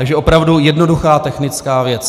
Takže opravdu jednoduchá technická věc.